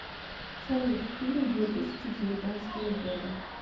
салют фильм две тысячи девятнадцатого года